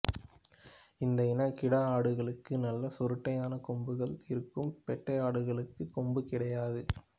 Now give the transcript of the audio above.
இந்த இன கிடா ஆடுகளுக்கு நல்ல சுருட்டையான கொம்புகள் இருக்கும் பெட்டை ஆடுகளுக்கு கொம்பு கிடையாது